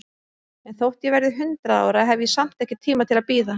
En þótt ég verði hundrað ára, hef ég samt ekki tíma til að bíða.